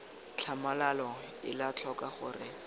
tlhamalalo ela tlhoko gore re